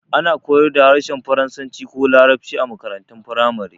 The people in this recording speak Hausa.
Ana koyar da harshen faransanci ko larabci a makarantun firamare